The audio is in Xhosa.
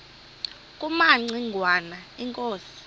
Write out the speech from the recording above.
kumaci ngwana inkosi